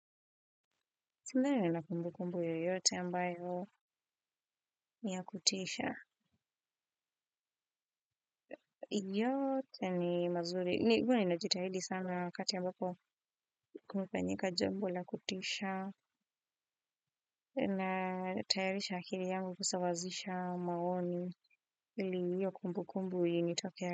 Sina na kumbu kumbu yoyote ambayo niya kutisha yote ni mazuri, huwa ninajitahidi sana wakati ambapo kumefanyika jambo la kutisha na tayarisha akili yangu kusawazisha maoni ili hio kumbu kumbu initoke.